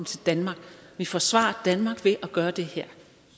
til danmark og vi forsvarer danmark ved at gøre det her